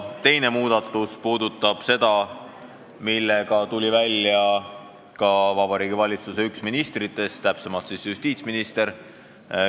Teine muudatus puudutab seda, millega tuli välja ka üks Vabariigi Valitsuse ministritest, täpsemalt justiitsminister.